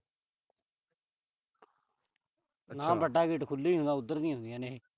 ਪਹਿਲਾਂ ਵੱਡਾ ਗੇਟ ਖੁੱਲ੍ਹਾ ਹੁੰਦਾ, ਉਧਰ ਦੀ ਆਉਂਦੀਆਂ ਨੇ ਇਹ।